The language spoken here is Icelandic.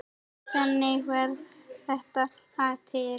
Þannig varð þetta lag til.